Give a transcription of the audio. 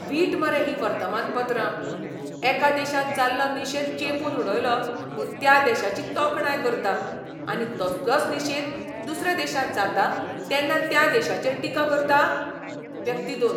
वीट मरे हीं वर्तमानपत्रां. एका देशांत जाल्लो निशेध चेंपून उडयलो म्हूण त्या देशाची तोखणाय करता, आनी तसलोच निशेध दुसऱ्या देशांत जाता तेन्ना त्या देशाचेर टिका करता? व्यक्ती दोन